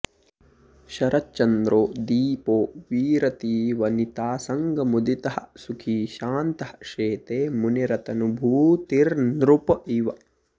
शरच्चन्द्रो दीपो विरतिवनितासङ्गमुदितः सुखी शान्तः शेते मुनिरतनुभूतिर्नृप इव